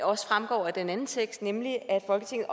også fremgår af den anden tekst nemlig at folketinget